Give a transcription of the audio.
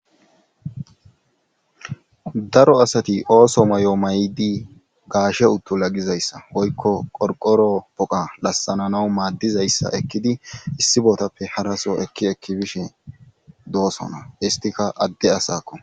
daro asati ooso may7o may7di gaashe uttu lagizayssa woykko qorqoro poqa lassananawu maaddizayssa ekkidi issi bootappe haraso ekki ekki bishe doosona istika adde asakko